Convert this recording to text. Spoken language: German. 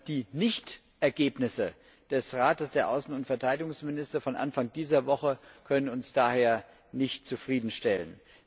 Die Nicht Ergebnisse des Rates der Außen und Verteidigungsminister vom Anfang dieser Woche können uns daher nicht zufriedenstellen.